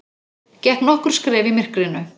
Gekk nokkur skref í myrkrinu.